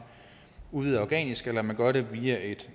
udvider organisk eller man gør det via et